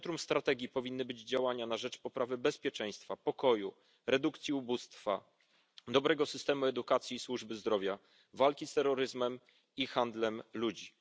W centrum strategii powinny znaleźć się działania na rzecz poprawy bezpieczeństwa, pokoju, redukcji ubóstwa, dobrego systemu edukacji i służby zdrowia, walki z terroryzmem i handlem ludźmi.